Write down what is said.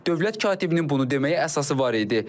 Dövlət katibinin bunu deməyə əsası var idi.